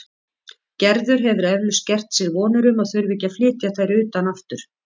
Gerður hefur eflaust gert sér vonir um að þurfa ekki að flytja þær utan aftur.